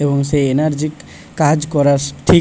এবং সেই এনার্জিক কাজ করা ঠিক--